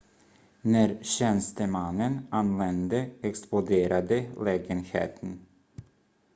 när tjänstemannen anlände exploderade lägenheten